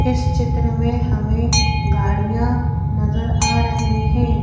इस चित्र में हमें गाड़ियां नजर आ रही हैं।